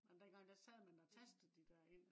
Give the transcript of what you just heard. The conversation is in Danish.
men dengang der sad man og tastede de der ind